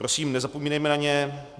Prosím nezapomínejme na ně.